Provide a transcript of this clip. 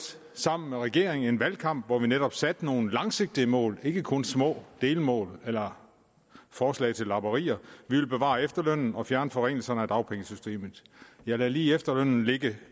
sammen med regeringen en valgkamp under netop satte nogle langsigtede mål ikke kun små delmål eller forslag til lapperier vi ville bevare efterlønnen og fjerne forringelserne af dagpengesystemet jeg lader lige efterlønnen ligge